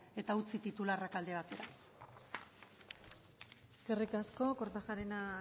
eta utzi titularrak alde batera eskerrik asko kortajarena